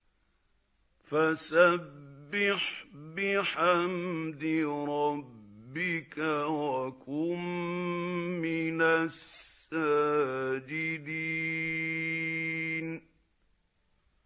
فَسَبِّحْ بِحَمْدِ رَبِّكَ وَكُن مِّنَ السَّاجِدِينَ